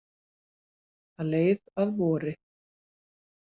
Það leið að vori.